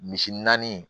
Misi naani